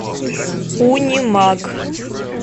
унимаг